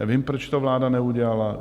Nevím, proč to vláda neudělala.